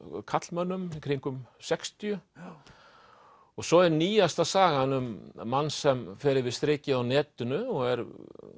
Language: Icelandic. karlmönnum í kringum sextíu svo er nýjasta sagan um mann sem fer yfir strikið á netinu og er